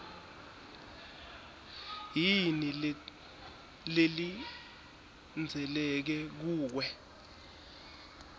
yini lelindzeleke kuwe